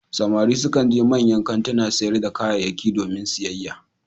Samari sukan je manyan kantunan sayar da kayyaki domin siyayya,